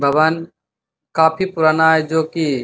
भवन काफी पुराना है जो की --